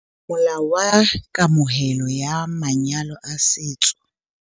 Molao wa Kamohelo ya Manyalo a Setso